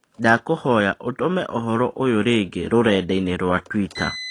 Ndakũihoya ũtũme ũhoro ũyũ rĩngĩ rũredainĩ rwa Twita